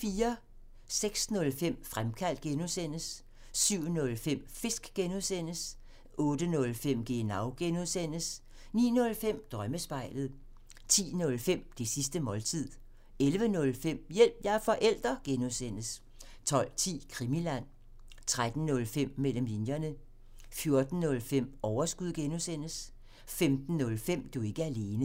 06:05: Fremkaldt (G) 07:05: Fisk (G) 08:05: Genau (G) 09:05: Drømmespejlet 10:05: Det sidste måltid 11:05: Hjælp – jeg er forælder! (G) 12:10: Krimiland 13:05: Mellem linjerne 14:05: Overskud (G) 15:05: Du er ikke alene